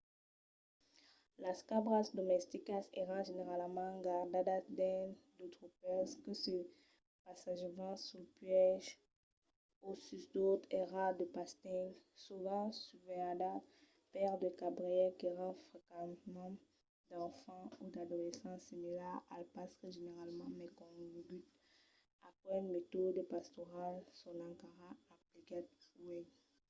las cabras domesticas èran generalament gardadas dins de tropèls que se passejavan suls puèges o sus d'autres airal de pastenc sovent susvelhadas per de cabrièrs qu'èran frequentament d'enfants o d'adolescents similars als pastres generalament mai coneguts. aqueles metòdes pastorals son encara emplegats uèi